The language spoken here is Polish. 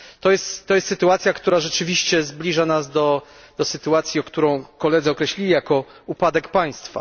To jest sytuacja, która rzeczywiście zbliża nas do sytuacji, którą koledzy określili jako upadek państwa.